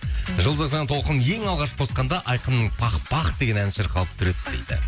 жұлдыз эф эм толқынын ең алғаш қосқанда айқанның пах пах деген әні шырқалып тұр еді дейді